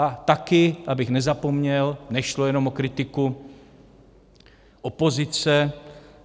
A taky, abych nezapomněl, nešlo jenom o kritiku opozice.